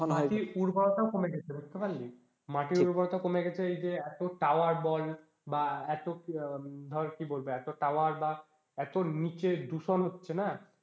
মাটির উর্বরতাও কমে গেছে বুঝতে পারলি, মাটির উর্বরতা কমে গেছে এই যে এতো tower বল বা এতো ধর কি বলবো এতো tower বা এতো নিচে দূষণ হচ্ছে না,